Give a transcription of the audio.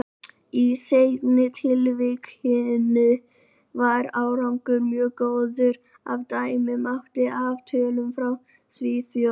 Í seinna tilvikinu var árangur mjög góður, ef dæma mátti af tölum frá Svíþjóð.